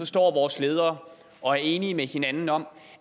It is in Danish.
står vores ledere og er enige med hinanden om